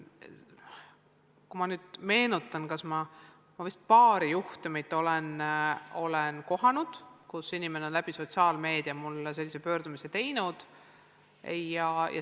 Kui ma nüüd meenutan, siis olen vist paari juhtumit kohanud, kus inimene on sotsiaalmeedia kaudu mulle sellise pöördumise teinud.